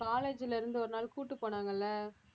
college ல இருந்து ஒரு நாள் கூட்டிட்டு போனாங்க இல்ல